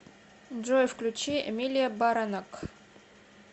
джой включи эмилия баранак